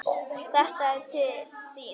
Þetta er til þín